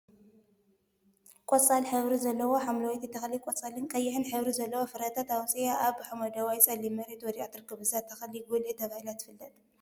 ቆፃል ሕብሪ ዘለዋ ሓምለወይቲ ተክሊ ቆፃልን ቀይሕን ሕብሪ ዘለዎም ፍረታት አውፂአ አብ ሓመደዋይ ፀሊም መሬት ወዲቃ ትርከብ፡፡ እዛ ተክሊ ጉልዒ ተባሂላ ትፍለጥ፡፡